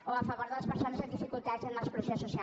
o a favor de les persones amb dificultats en exclusió social